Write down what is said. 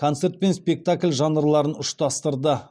концерт пен спектакль жанрларын ұштастырды